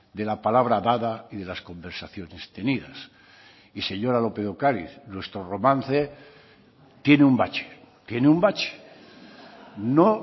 de la palabra dada y de las conversaciones tenidas y señora lópez de ocariz nuestro romance tiene un bache tiene un bache no